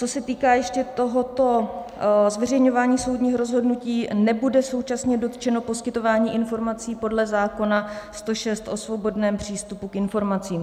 Co se týká ještě tohoto zveřejňování soudních rozhodnutí, nebude současně dotčeno poskytování informací podle zákona 106 o svobodném přístupu k informacím.